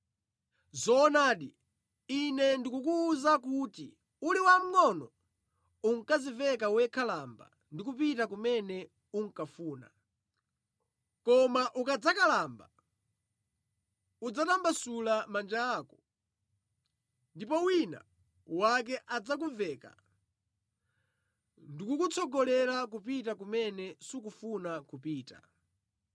Zoonadi, Ine ndikukuwuza kuti uli wamngʼono unkadziveka wekha lamba ndi kupita kumene unkafuna; koma ukadzakalamba udzatambasula manja ako ndipo wina wake adzakuveka ndikukutsogolera kupita kumene sukufuna kupita.”